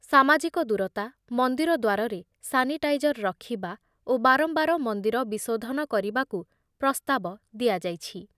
ସାମାଜିକ ଦୂରତା, ମନ୍ଦିର ଦ୍ବାରରେ ସାନିଟାଇଜର ରଖିବା ଓ ବାରମ୍ବାର ମନ୍ଦିର ବିଶୋଧନ କରିବାକୁ ପ୍ରସ୍ତାବ ଦିଆଯାଇଛି।